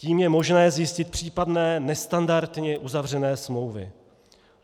Tím je možné zjistit případné nestandardně uzavřené smlouvy.